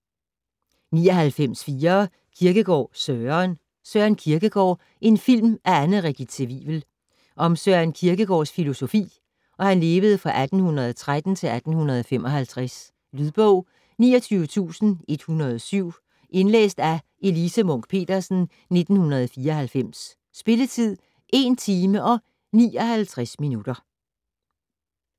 99.4 Kierkegaard, Søren Søren Kierkegaard - en film af Anne Regitze Wivel Om Søren Kierkegaards (1813-1855) filosofi. Lydbog 29107 Indlæst af Elise Munch-Petersen, 1994. Spilletid: 1 timer, 59 minutter.